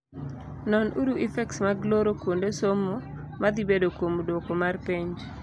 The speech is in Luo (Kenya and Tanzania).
Non uru effects mag loro kuonde somo madhibedo kuom duoko mar penj.